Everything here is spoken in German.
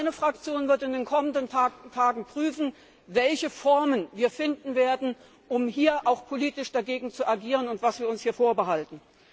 Meine Fraktion wird in den kommenden Tagen prüfen, welche Formen wir finden werden, um hier politisch dagegen zu agieren, und was wir uns hier vorbehalten.